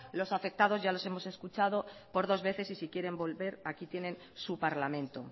los afectados ya les hemos escuchado por dos veces y si quieren volver aquí tienen su parlamento